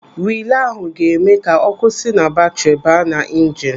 Rilee ahụ ga-eme ka ọ́kụ́ si na batri baa na injinu.